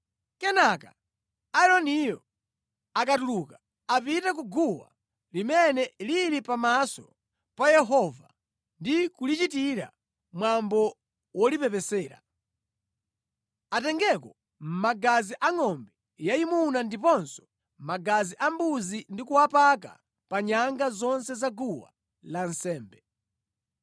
“Kenaka, Aaroniyo akatuluka apite ku guwa limene lili pamaso pa Yehova ndi kulichitira mwambo wolipepesera. Atengeko magazi a ngʼombe yayimuna ndiponso magazi a mbuzi ndi kuwapaka pa nyanga zonse za guwa lansembe.